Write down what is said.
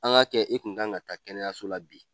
An k'a kɛ e kun kan ka taa kɛnɛyaso la bi.